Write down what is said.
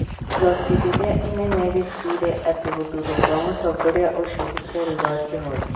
Igooti rĩrĩa inene rĩtuĩre atĩ gũthurwo kwa mũtongoria ũcio gũtiarĩ gwa kĩhooto.